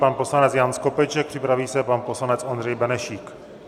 Pan poslanec Jan Skopeček, připraví se pan poslanec Ondřej Benešík.